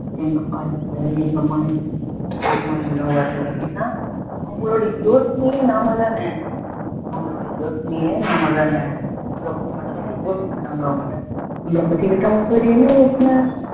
எங்கப்பா இருக்க எங்கமா இருக்க ஏம்மா இன்னும் வரல ஏன்னா அவங்களோட யோசனையே நாம தான அவங்களோட யோசனையே நாம தான நம்மள பத்தி மட்டும் தான யோசிக்கிறாங்க அவங்க நம்மள பத்தி விட்டு அவங்களுக்கு வேற என்ன யோசனை